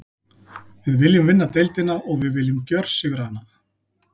Við viljum vinna deildina og við viljum gjörsigra hana.